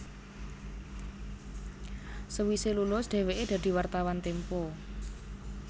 Sewise lulus dheweke dadi wartawan Tempo